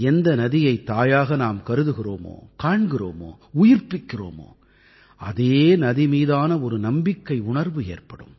எந்த நதியைத் தாயாக நாம் கருதுகிறோமோ காண்கிறோமோ உயிர்ப்பிக்கிறோமோ அதே நதி மீதான ஒரு நம்பிக்கையுணர்வு ஏற்படும்